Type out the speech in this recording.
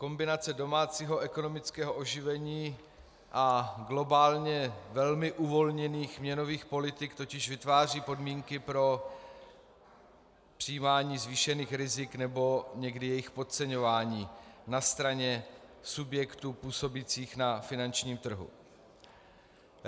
Kombinace domácího ekonomického oživení a globálně velmi uvolněných měnových politik totiž vytváří podmínky pro přijímání zvýšených rizik nebo někdy jejich podceňování na straně subjektů působících na finančním trhu.